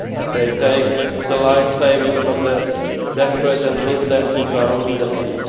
They take the life savings of the desperate and leave them to drown in the sea.